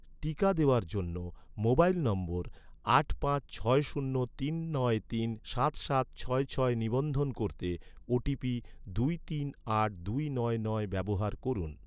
টিকা দেওয়ার জন্য, মোবাইল নম্বর আট পাঁচ ছয় শূন্য তিন নয় তিন সাত সাত ছয় ছয় নিবন্ধন করতে, ওটিপি দুই তিন আট দুই নয় নয় ব্যবহার করুন